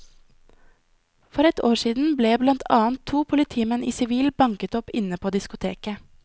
For ett år siden ble blant annet to politimenn i sivil banket opp inne på diskoteket.